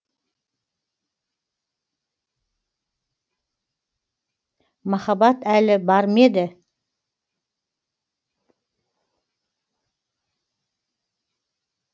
махаббат әлі бар ма еді